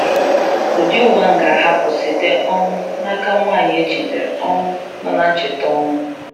Ụdị uwe ahụ ga-ahapụ site um n’aka nwanyị e jidere um nọ na ncheta ọnwụ.